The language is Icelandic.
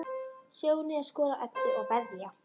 Sjóni að skora á Eddu að veðja.